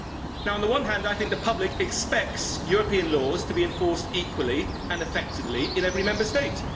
Now on the one hand, I think the public expects European laws to be enforced equally and effectively in every Member State.